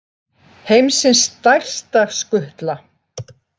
Heimsins stærsta skutla